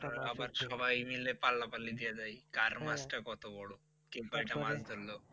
আবার সবাই মিলে পাল্লা পাল্লি দিয়ে যাই কার মাছ টা কত বড়? কে কয়টা মাছ ধরলো?